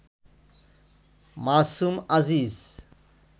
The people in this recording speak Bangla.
মাসুম আজিজ